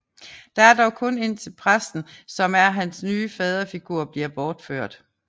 Det er dog kun indtil præsten som er hans nye faderfigur bliver bortført